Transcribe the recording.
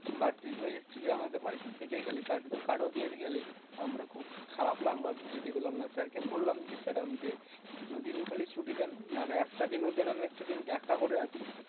but তুই তো এসেছিলি আমাদের বাড়িতে থেকে গেলি, card তো card ও দিয়ে গেলি। আমারও খুব খারাপ লাগলো আরকি যেতে পেলাম না। sir কে বললাম যে sir আমাকে দুদিন খালি ছুটি দেন, নাহলে একটা দিনও দেন আমি একটা দিন দেখা করে আসি।